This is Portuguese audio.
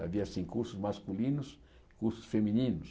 Havia assim cursos masculinos e cursos femininos.